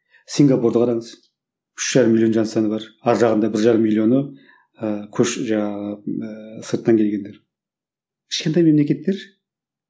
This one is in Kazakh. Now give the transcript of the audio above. сингапурды қараңыз үш жарым миллион жан саны бар арғы жағында бір жарым миллионы ы жаңағы ыыы сырттан келгендер кішкентай мемлекеттер